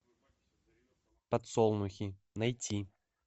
подсолнухи найти